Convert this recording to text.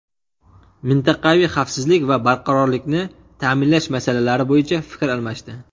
mintaqaviy xavfsizlik va barqarorlikni ta’minlash masalalari bo‘yicha fikr almashdi.